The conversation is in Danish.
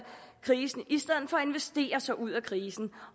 krisen i stedet sig ud af krisen